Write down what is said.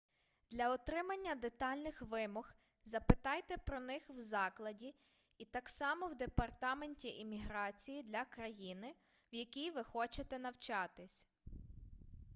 для отримання детальних вимог запитайте про них в закладі і так само в департаменті імміграції для країни в якій ви хочете навчатись